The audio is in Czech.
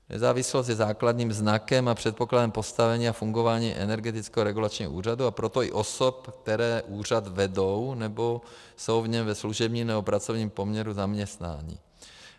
Nezávislost je základním znakem a předpokladem postavení a fungování Energetického regulačního úřadu, a proto i osob, které úřad vedou nebo jsou v něm ve služebním nebo pracovním poměru zaměstnáni.